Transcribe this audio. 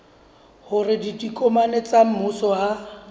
hore ditokomane tsa mmuso ha